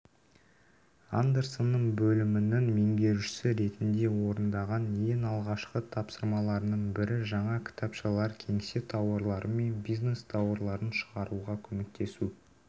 андерсонның бөлімінің меңгерушісі ретінде орындаған ең алғашқы тапсырмаларының бірі жаңа кітапшалар кеңсе тауарлары мен бизнес тауарларын шығаруға көмектесу